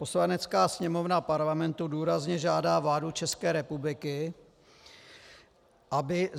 Poslanecká sněmovna Parlamentu důrazně žádá vládu České republiky, aby